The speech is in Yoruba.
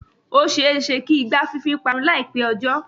Ó ṣe-é-ṣe kí igbá fínfín parun láìpẹ́ ọjọ́.